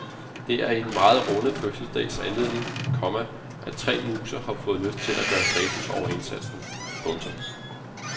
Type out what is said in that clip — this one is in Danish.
Det er i den meget runde fødselsdags anledning, komma at tre museer har fået lyst til at gøre status over indsatsen. punktum